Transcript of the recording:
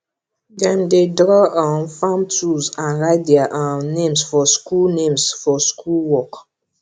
dem dey draw um farm tools and write their um names for school names for school work